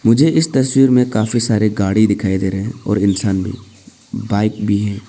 मुझे इस तस्वीर में काफी सारे गाड़ी दिखाई दे रहे हैं और इंसान भी बाइक भी है।